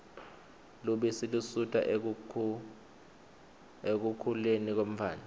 lubisi lusita ekukhuleni kwemtfwana